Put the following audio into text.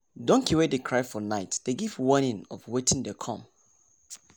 donkey wey dey cry for night dey give warning of wetin dey come